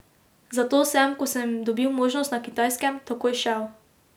Zato sem, ko sem dobil možnost na Kitajskem, takoj šel.